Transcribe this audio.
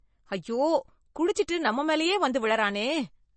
ஐயோ, குடிச்சிட்டு நம்ம மேலயே வந்து விழுறானே.